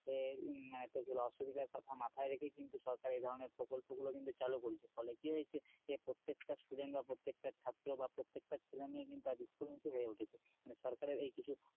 আহ মানে তোর কি বলে অসুবিধার কথা মাথায় রেখে কিন্তু সরকার এ ধরনের প্রকল্পগুলো কিন্তু চালু করেছে ফলে কি হয়েছে প্রত্যেকটা student বা প্রত্যেকটা ছাত্র বা প্রত্যেকটা ছেলেমেয়ে কিন্তু আজ school মুখী হয়ে উঠেছে মানে সরকারের এই কিছু,